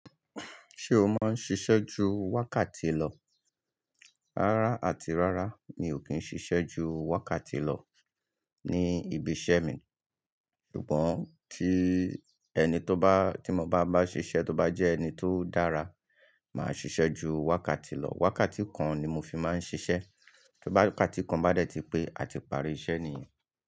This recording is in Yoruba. Ṣé o máa ń ṣiṣẹ́ ju wákàtí lọ? Rárá àti rárá mi ò kí ń ṣiṣẹ́ ju wákàtí lọ ní ibiṣẹ́ mi. Ṣùgbọ́n ti ẹni tó bá, tí mo bá máa bá ṣiṣẹ́ tó bá jẹ́ ẹni tó dára, màá ṣiṣẹ́ ju wákàtí lọ. Wákàtí kan ni mo fi máa ń ṣiṣẹ́. Ti wákàtí kan bá dẹ̀ ti pé, a ti parí iṣẹ́ nìyẹn.